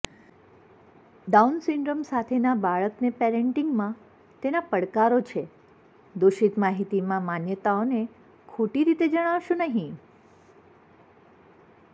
down syndrome સાથેના બાળકને પેરેંટિંગમાં તેના પડકારો છે દોષિત માહિતીમાં માન્યતાઓને ખોટી રીતે જણાવશો નહીં